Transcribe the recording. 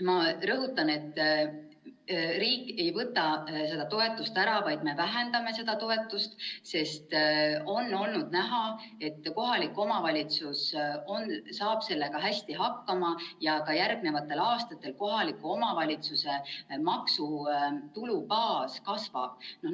Ma rõhutan, et riik ei võta seda toetust ära, vaid me vähendame seda toetust, sest on olnud näha, et kohalikud omavalitsused saavad hästi hakkama ja ka järgnevatel aastatel kohaliku omavalitsuse maksutulubaas kasvab.